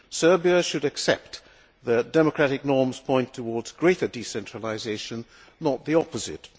Serbia should accept that democratic norms point towards greater decentralisation, not the opposite.